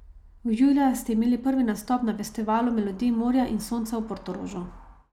Julija ste imeli prvi nastop na festivalu Melodij morja in sonca v Portorožu.